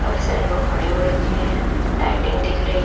सारे लोग खड़े हो रखे हैं लाइटिंग दिख रही है।